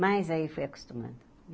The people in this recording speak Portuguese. Mas aí eu fui acostumando.